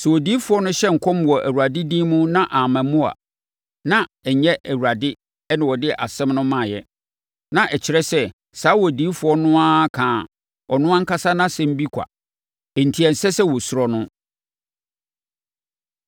Sɛ odiyifoɔ no hyɛ nkɔm wɔ Awurade din mu na amma mu a, na ɛnyɛ Awurade na ɔde asɛm no maeɛ. Na ɛkyerɛ sɛ, saa odiyifoɔ no ara kaa ɔno ankasa nʼasɛm bi kwa enti ɛnsɛ sɛ wɔsuro no.